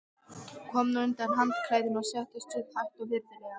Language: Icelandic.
Kom nú undan handklæðinu og settist upp, hægt og virðulega.